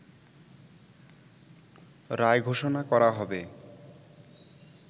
রায় ঘোষণা করা হবে